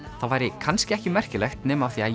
það væri kannski ekki merkilegt nema af því að